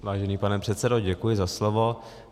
Vážený pane předsedo, děkuji za slovo.